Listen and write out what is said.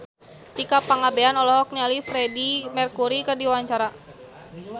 Tika Pangabean olohok ningali Freedie Mercury keur diwawancara